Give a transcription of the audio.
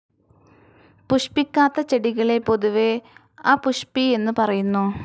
പുഷ്പിക്കാത്ത ചെടികളെ പൊതുവെ അപുഷ്പി എന്നു പറയുന്നു.